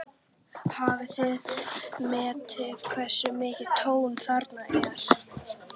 Hafið þið metið hversu mikið tjón þarna er?